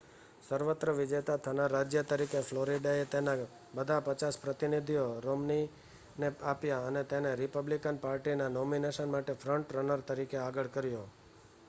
સર્વત્ર વિજેતા થનાર રાજ્ય તરીકે ફ્લોરિડાએ તેના બધાં પચાસ પ્રતિનિધિઓ રોમ્નીને આપ્યાં અને તેને રિપબ્લિકન પાર્ટીના નોમિનેશન માટે ફ્રન્ટ રનર તરીકે આગળ કર્યો